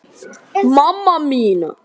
Minn hugur klökkur er.